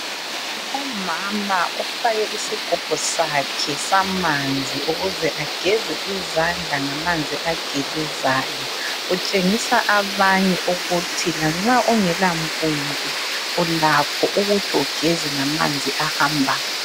Umama ufake isigubhu sakhe samanzi ukuze ageze izandla manzi agelezayo. Utshengisa abanye ukuthi, lanxa ungelampompi ulakho ukuthi ugeze ngamanzi ahambayo.